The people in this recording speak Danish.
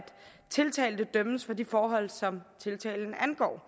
tiltalte dømmes for de forhold som tiltalen angår